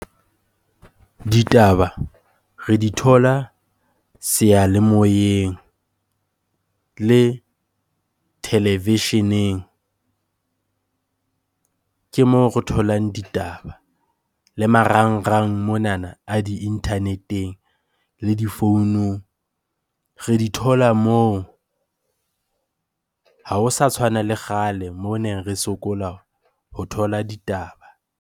Ditaba re di thola seyalemoyeng le televisheneng, ke moo re tholang ditaba. Le marangrang monana a di-internet-eng le difounung, re di thola moo. Ha ho sa tshwana le kgale moo ne re sokola ho thola ditaba.